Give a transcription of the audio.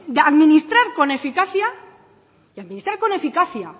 administrar con eficacia y administrar con eficacia